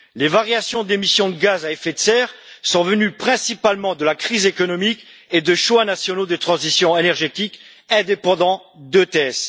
Les variations d'émissions de gaz à effet de serre sont venues principalement de la crise économique et de choix nationaux de transition énergétique indépendants du SEQE.